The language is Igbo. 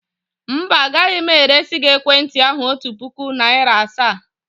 Mba, agaghị m eresi gị ekwentị ahụ otu puku naịra asaa.